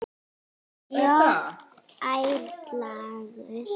Jakob ærlegur